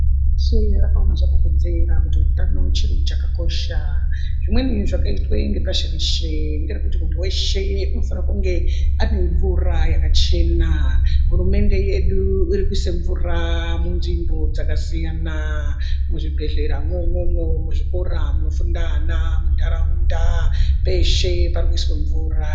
Pashi reshe rakaona zvakakodzera kuti utano chiro chakakosha. Zvimweni zvakaitwe nepashi reshe ngerekuti muntu veshe unofane kunge ane mvura yakachena. Hurumende yedu irikuise mvura munzvimbo dzakasiyana Muzvibhedhlera mwomwomwo muzvikora munofunda ana muntaraunda peshe parikuiswa mvura.